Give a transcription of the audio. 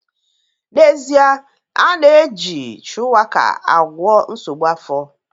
N'ezie, a na-eji shuwaka agwọ nsogbu afọ